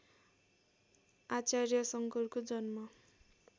आचार्य शङ्करको जन्म